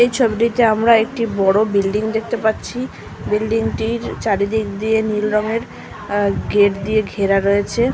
এই ছবিটা আমরা একটি বড় বিল্ডিং দেখতে পাচ্ছি বিল্ডিং -টির চারিদিক দিয়ে নীল রংয়ের গেট দিয়ে ঘেরা রয়েছে।